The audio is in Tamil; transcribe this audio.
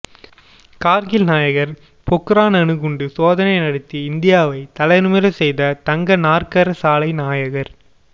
கார்கில் நாயகர் பொக்ரான் அணுகுண்டு சோதனை நடத்தி இந்தியாவை தலைநிமிர செய்த தங்க நாற்கர சாலை நாயகர்